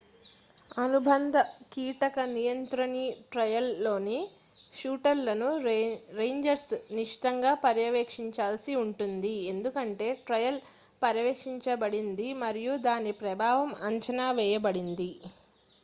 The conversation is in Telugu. అనుబంధ కీటక నియంత్రణి ట్రయల్లోని షూటర్లను రేంజర్లు నిశితంగా పర్యవేక్షించాల్సి ఉంటుంది ఎందుకంటే ట్రయల్ పర్యవేక్షించబడింది మరియు దాని ప్రభావం అంచనా వేయబడింది